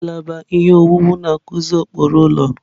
Ngalaba ihe owuwu na-akụzi ụkpụrụ ụlọ.